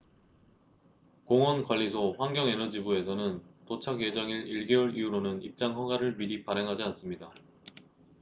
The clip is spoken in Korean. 공원 관리소환경 에너지부에서는 도작 예정일 1개월 이후로는 입장 허가를 미리 발행하지 않습니다